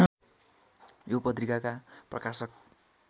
यो पत्रिकाका प्रकाशक